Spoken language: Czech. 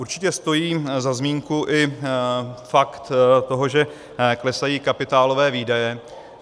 Určitě stojí za zmínku i fakt toho, že klesají kapitálové výdaje.